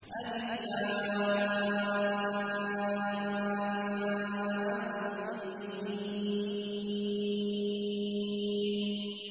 الم